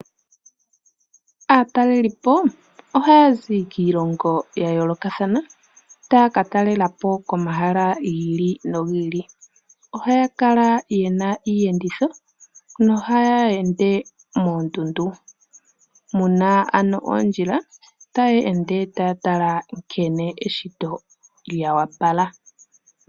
Aatalelipo ohaya zi kiilongo ya yoolokathana tayaka talelapo komahala giili nogiili, ohaya kala yena iiyenditho nohaya ende moondundu. Muna ano oondjila taye ende taya tala nkene eshito lya wapala.